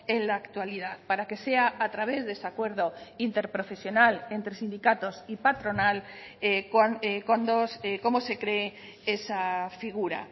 en la actualidad para que sea a través de ese acuerdo interprofesional entre sindicatos y patronal como se cree esa figura